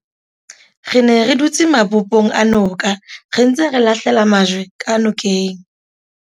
re ne re dutse mabopong a noka re ntse re lahlela majwe ka nokeng